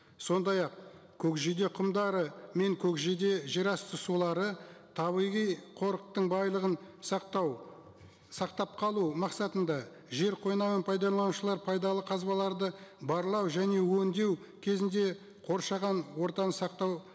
сондай ақ көкжиде құмдары мен көкжиде жерасты сулары табиғи қорықтың байлығын сақтау сақтап қалу мақсатында жер қойнауын пайдаланушылар пайдалы қазбаларды барлау және өндеу кезінде қоршаған ортаны сақтау